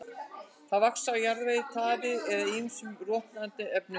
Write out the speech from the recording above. Þeir vaxa á jarðvegi, taði eða ýmsum rotnandi efnum.